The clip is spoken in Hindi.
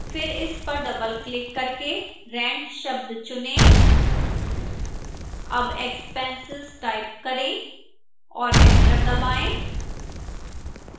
फिर इस पर doubleक्लिक करके rent शब्द चुनें double expenses टाइप करें और एंटर दबाएं